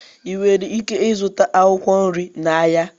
ị nwere ike ịzụta akwụkwọ nri n'ahịa